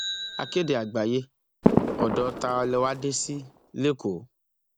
akéde àgbáyé ọdọ ta lẹ wàá dé sí lẹkọọ